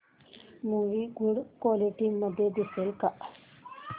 movie good quality मध्ये दिसेल का